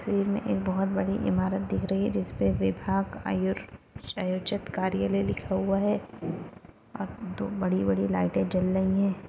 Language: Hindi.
में एक बहुत बड़ी इमारत दिख रही है जिस पर विभाग आयु आयोजित कार्यालय लिखा हुआ है आप दो बड़ी-बड़ी लाइट जल रही है।